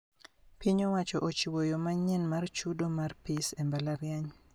Piny owacho ochiwo yoo manyien mar chudo mar pis e mbalariany